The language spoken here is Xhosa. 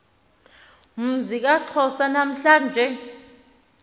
mzi kaxhosa namhla